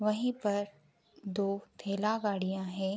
वहीं पर दो ठेला गाड़ियां हैं।